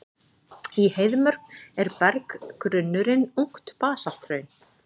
Í Heiðmörk er berggrunnurinn ungt basalthraun.